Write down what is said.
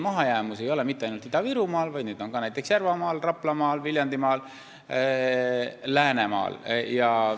Mahajäämust ei ole mitte ainult Ida-Virumaal, vaid ka näiteks Järvamaal, Raplamaal, Viljandimaal, Läänemaal.